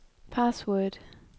password